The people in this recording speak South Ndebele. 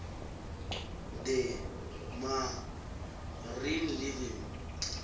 the marine living